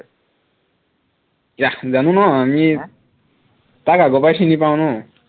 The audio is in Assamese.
yeah জানো ন আমি , তাক আগৰপৰাই চিনি পাও ন